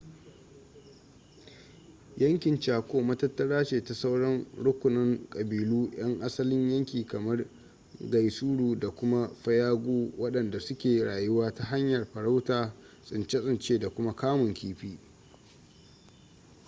yankin chaco matattara ce ta sauran rukunan ƙabilu 'yan asalin yanki kamar guaycuru da kuma payagua waɗanda su ke rayuwa ta hanyar farauta tsince-tsince da kuma kamun kifi